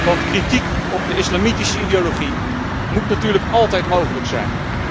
Want kritiek op de islamitische ideologie moet natuurlijk altijd mogelijk zijn.